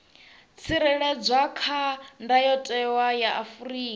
tsireledzwa kha ndayotewa ya afrika